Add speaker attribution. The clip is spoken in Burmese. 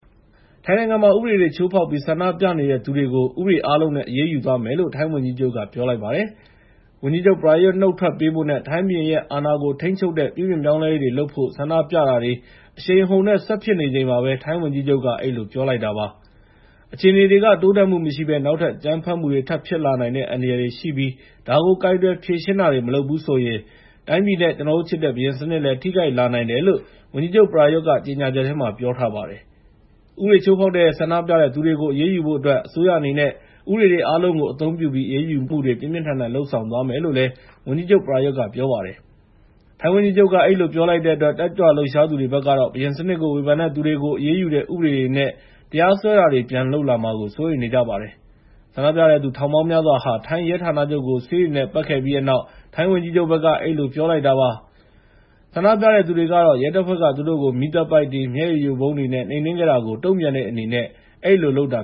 Speaker 1: ထိုင်းနိုင်ငံမှာ ဥပဒေချိုးဖောက်ပြီး ဆန္ဒပြနေတဲ့သူတွေကို ဥပဒေအားလုံးနဲ့ အရေးယူသွားမယ်လို့ ထိုင်းဝန်ကြီးချုပ်က ပြောလိုက်ပါတယ်။ ဝန်ကြီးချုပ် ပရာယုသ် နုတ်ထွက်ပေးဖို့နဲ့ ထိုင်းဘုရင်ရဲ့အာဏာကို ထိန်းချုပ်တဲ့ ပြုပြင်ပြောင်းလဲရေးတွေလုပ်ဖို့ ဆန္ဒပြတာ တောင်းဆိုတာတွေ အရှိန်အဟုန်နဲ့ ဆက်ဖြစ်နေချိန်မှာပဲ ထိုင်းဝန်ကြီးချုပ်က အဲဒီလိုပြောလိုက်တာပါ။ အခြေအနေတွေက တိုးတက်မှုမရှိဘဲ နောက်ထပ်အကြမ်းဖက်မှုတွေ ထပ်ဖြစ်လာနိုင်တဲ့ အန္တရာယ်တွေရှိပြီး ဒါကိုကိုင်တွယ်ဖြေရှင်းတာ မလုပ်ဘူးဆိုရင် တိုင်းပြည်နဲ့ ကျနော်တို့ချစ်တဲ့ ဘုရင်စနစ်လည်း ထိခိုက်လာနိုင်တယ်လို့ ဝန်ကြီးချုပ် ပရာယုသ်ကကြေငြာချက်ထဲမှာ ပြောထားပါတယ်။ ဥပဒေချိုးဖောက်တဲ့ဆန္ဒပြသူတွေကို အရေးယူဖို့အတွက် အစိုးရအနေနဲ့ ဥပဒေတွေအားလုံးကို အသုံးပြုပြီး အရေးယူမှုတွေ ပြင်းပြင်းထန်ထန်လုပ်ဆောင်သွားမယ်လို့ ဝန်ကြီးချုပ် ပရာယုသ်က ပြောပါတယ်။ ထိုင်းဝန်ကြီးချုပ်က အဲဒီလိုပြောလိုက်တဲ့အတွက် တက်ကြွလှုပ်ရှားသူတွေဘက်ကတော့ ဘုရင်စနစ်ကို ဝေဖန်တဲ့သူတွေကို အရေးယူတဲ့ဥပဒေတွေနဲ့ တရားစွဲတာတွေ ပြန်လုပ်လာမှာကို စိုးရိမ်နေကြပါတယ်။ ဆန္ဒပြတဲ့သူထောင်ပေါင်းများစွာက ထိုင်းရဲဌာနချုပ်ကို ဆေးတွေနဲ့ ပက်ခဲ့ပြီးတဲ့နောက် ထိုင်းဝန်ကြီးချုပ်က အဲဒီလိုပြောလိုက်တာပါ။ ဆန္ဒပြတဲ့သူတွေကတော့ ရဲတပ်ဖွဲ့က သူတို့ကို မီးသတ်ပိုက်တွေ၊ မျက်ရည်ယိုဗုံးတွေနဲ့ နှိမ်နှင်းခဲ့တာကို
Speaker 2: တုံ့ပြန်တဲ့အနေနဲ့ အဲဒီလိုလုပ်တာ